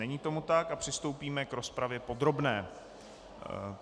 Není tomu tak a přistoupíme k rozpravě podrobné.